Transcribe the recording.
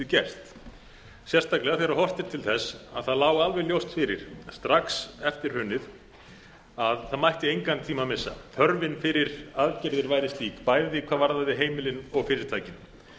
gerst sérstaklega þegar horft er til þess að það lá alveg ljóst fyrir strax eftir hrunið að það mætti engan tíma missa þörfin fyrir aðgerðir væri slík bæði hvað varðaði heimilin og fyrirtækin